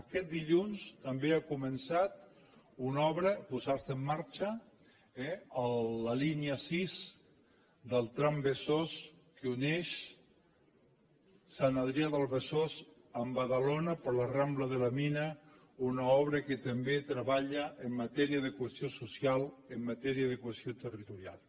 aquest dilluns també ha començat a posar se en marxa una obra eh la línia sis del trambesòs que uneix sant adrià de besòs amb badalona per la rambla de la mina una obra que també treballa en matèria de cohesió social en matèria de cohesió territorial